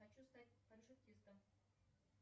хочу стать парашютистом